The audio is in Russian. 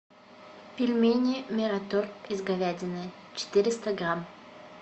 пельмени мираторг из говядины четыреста грамм